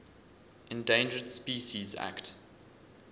endangered species act